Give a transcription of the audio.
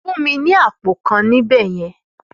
Fún mi ní àpò kan níbẹ̀ yẹn!